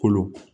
Kolo